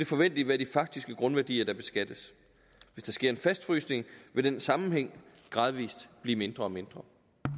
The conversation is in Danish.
forventeligt være de faktiske grundværdier der beskattes hvis der sker en fastfrysning vil den sammenhæng gradvis blive mindre og mindre